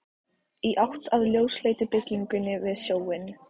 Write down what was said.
Í átt að ljósleitu byggingunni við sjóinn.